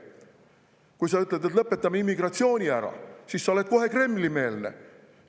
Kui sa ütled, et lõpetame immigratsiooni ära, siis sa oled kohe Kremli‑meelne.